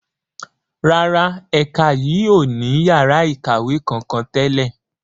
Rárá, ẹ̀ka yìí ó ní yàrá ikawe kankan tẹ́lẹ̀.